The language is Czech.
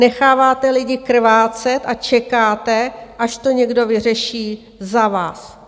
Necháváte lidi krvácet a čekáte, až to někdo vyřeší za vás.